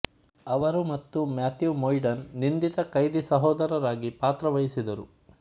ಅವರು ಮತ್ತು Matthew Modine ನಿಂದಿತ ಕೈದಿ ಸಹೋದರರಾಗಿ ಪಾತ್ರವಹಿಸಿದರು